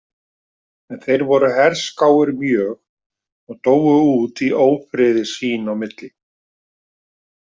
En þeir voru herskáir mjög og dóu út í ófriði sín á milli.